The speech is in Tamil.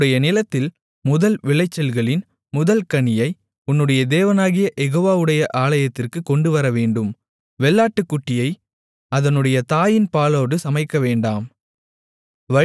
உன்னுடைய நிலத்தில் முதல் விளைச்சல்களின் முதல் கனியை உன்னுடைய தேவனாகிய யெகோவாவுடைய ஆலயத்திற்குக் கொண்டுவரவேண்டும் வெள்ளாட்டுக்குட்டியை அதனுடைய தாயின் பாலோடு சமைக்கவேண்டாம்